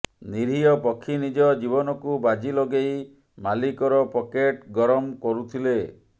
ନିରୀହ ପକ୍ଷୀ ନିଜ ଜୀବନକୁ ବାଜି ଲଗେଇ ମାଲିକର ପକେଟ ଗରମ କରୁଥିଲେ